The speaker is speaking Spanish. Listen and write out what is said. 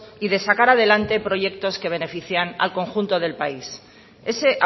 y de sacar adelante proyectos que benefician al conjunto del país ese